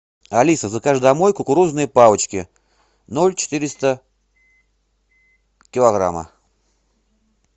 алиса закажи домой кукурузные палочки ноль четыреста килограмма